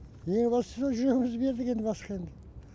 ең бастысы жүрегімізді бердік енді басқа енді